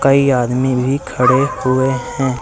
कई आदमी भी खड़े हुए हैं।